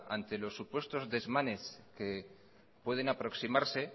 ante los supuestos desmanes que pueden aproximarse